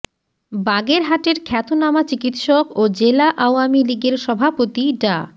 বাগেরহাটের খ্যাতনামা চিকিৎসক ও জেলা আওয়ামী লীগের সভাপতি ডা